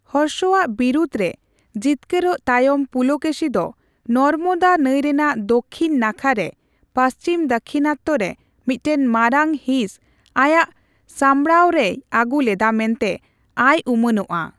ᱦᱚᱨᱥᱚ ᱟᱜ ᱵᱤᱨᱩᱫ ᱨᱮ ᱡᱤᱛᱠᱟᱹᱨᱚᱜ ᱛᱟᱭᱚᱢ ᱯᱩᱞᱚᱠᱮᱥᱤ ᱫᱚ ᱱᱚᱨᱢᱚᱫᱟ ᱱᱟᱹᱭ ᱨᱮᱭᱟᱜ ᱫᱚᱠᱷᱤᱱ ᱱᱟᱠᱷᱟ ᱨᱮ ᱯᱟᱹᱪᱷᱤᱢ ᱫᱟᱠᱷᱤᱱᱟᱛᱛᱚ ᱨᱮ ᱢᱤᱛᱴᱮᱱ ᱢᱟᱨᱟᱝ ᱦᱤᱸᱥ ᱟᱭᱟᱜ ᱥᱟᱢᱵᱽᱲᱟᱣ ᱨᱮᱭ ᱟᱹᱜᱩ ᱞᱮᱫᱟ ᱢᱮᱱᱛᱮ ᱟᱭ ᱩᱢᱟᱹᱱᱚᱜ ᱼᱟ ᱾